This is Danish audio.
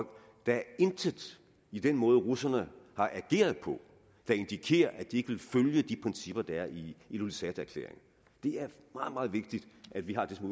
der er intet i den måde russerne har ageret på der indikerer at de ikke vil følge de principper der er i ilulissaterklæringen det er meget meget vigtigt at vi har det som